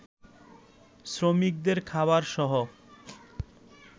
শ্রমিকদের খাবারসহ